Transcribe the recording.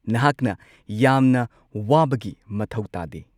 ꯅꯍꯥꯛꯅ ꯌꯥꯝꯅ ꯋꯥꯕꯒꯤ ꯃꯊꯧ ꯇꯥꯗꯦ!